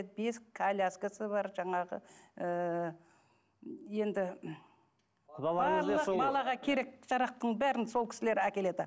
бесік коляскасы бар жаңағы ыыы енді барлық балаға керек жарақтың бәрін сол кісілер әкеледі